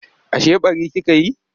Ashe ɓari kika yi?